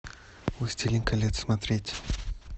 властелин колец смотреть